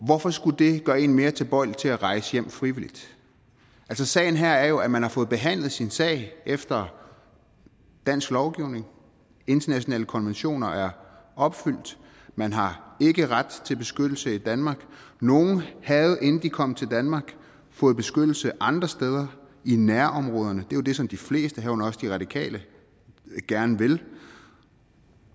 hvorfor skulle det gøre en mere tilbøjelig til at rejse hjem frivilligt sagen her er jo at man har fået behandlet sin sag efter dansk lovgivning internationale konventioner er opfyldt og man har ikke ret til beskyttelse i danmark nogle havde inden de kom til danmark fået beskyttelse andre steder i nærområderne det er jo det som de fleste herunder også de radikale gerne vil